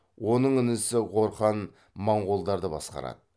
оның інісі горхан маңғолдарды басқарады